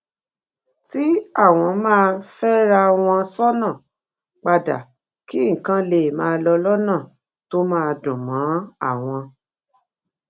tí àwọn máa féra wọn sónà padà kí nǹkan lè máa lọ lónà tó máa dùn mó àwọn